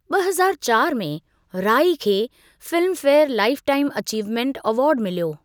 ॿ हज़ार चारि में राइ खे Filmfare lifetime achievement award मिल्यो।